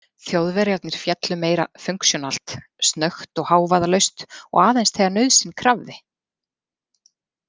Þjóðverjarnir féllu meira funksjónalt, snöggt og hávaðalaust og aðeins þegar nauðsyn krafði.